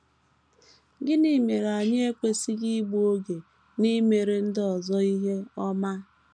Gịnị mere anyị ekwesịghị igbu oge n’imere ndị ọzọ ihe ọma?